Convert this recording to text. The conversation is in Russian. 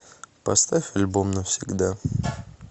поставь альбом навсегда